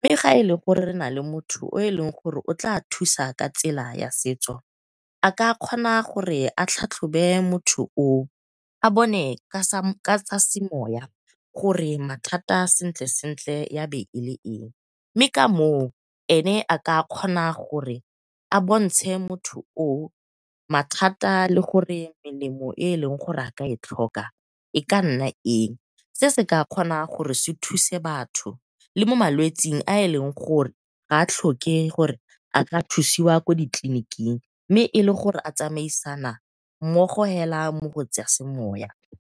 Mme ga ele gore re nale motho yo eleng gore o tla thusa ka tsela ya setso a ka kgona gore a tlhatlhobe motho o o, a bone ka tsa semoya gore mathata sentle sentle ya be ele eng. Mme ka moo ene a ka kgona gore a bontshe motho o o mathata le gore melemo e eleng gore a ka e tlhoka e ka nna eng. Se se ka kgona gore se thuse batho le mo malwetsing a eleng gore ga a tlhoke gore a ka thusiwa ko ditleliniking mme e le gore a tsamisana mmogo hela mo go tsa semoya.